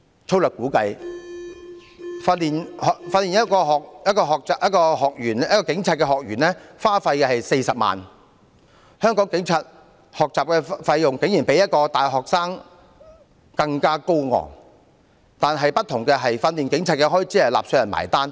粗略估計，訓練一名學警所需費用約40萬元，香港警察學習的費用竟比大學生更高昂，但不同的是，訓練警察的開支由納稅人支付。